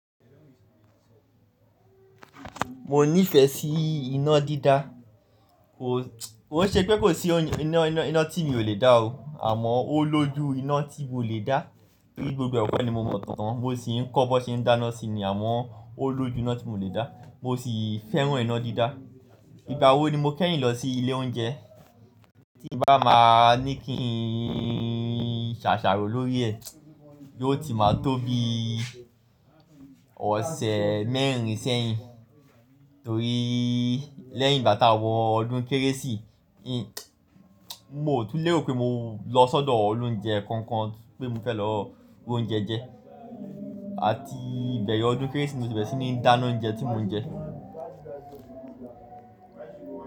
Mo nífẹ̀ẹ́ sí iná dídá. Koi ṣe pé kò sí iná tí mi ò lè dá o, àmọ́ ó lójú iná tí mo lè dá. Torí gbogbo e ko ni mo mọ̀ tán, mo sì ń kọ́ bó ṣe ń dáná sì ni, àmọ́ ó lójú iná tí mo lè dá. Mo sì fẹ́ràn iná dídá. Ìgbà wo ni mo kẹ́yìn lọ sí ilé oúnjẹ? Tí bá máa ní kí n ṣàṣàrò lórí ẹ̀, yóò ti máa tó bí ọ̀sẹ̀ mẹ́rin sẹ́yìn. Torí lẹ́yìn ìgbà tá wọ ọdún Kérésì, mo ò tún léro pé mo lọ sọ́dọ̀ olóúnjẹ kankan pé mo fẹ́ lọ ra oúnjẹ jẹ. Àti bẹ̀rẹ̀ ọdún Kérésì ni mi ò ti bẹ̀rẹ̀ sí ní dáná oúnjẹ tí mò ń jẹ.